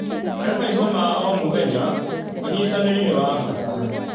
Harĩ maica ma o mũthenya, ũnyitanĩri nĩ wa bata.